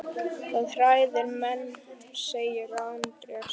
Það hræðir menn, segir Andrés.